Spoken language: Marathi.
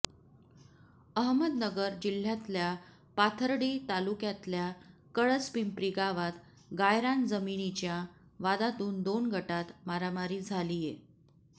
अहमदनगर जिल्ह्यातल्या पाथर्डी तालुक्यातल्या कळस पिंपरी गावात गायरान जमिनीच्या वादातून दोन गटात मारामारी झालीय